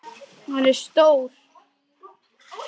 Hann er stór.